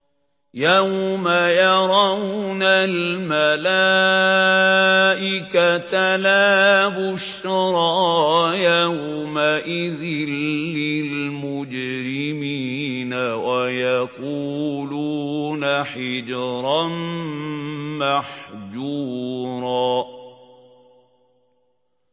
يَوْمَ يَرَوْنَ الْمَلَائِكَةَ لَا بُشْرَىٰ يَوْمَئِذٍ لِّلْمُجْرِمِينَ وَيَقُولُونَ حِجْرًا مَّحْجُورًا